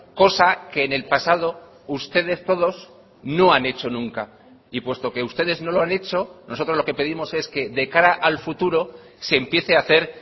cosa que en el pasado ustedes todos no han hecho nunca y puesto que ustedes no lo han hecho nosotros lo que pedimos es que de cara al futuro se empiece a hacer